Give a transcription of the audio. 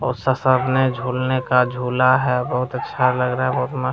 और शासरने झूलने का झूला है बहुत अच्छा लग रहा है बहुत मस्त।